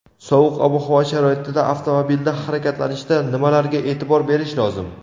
sovuq ob-havo sharoitida avtomobilda harakatlanishda nimalarga e’tibor berish lozim.